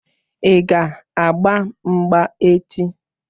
Ị ga-agba mgba echi!